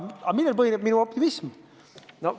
Aga millel põhineb minu optimism?